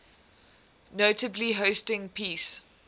notably hosting peace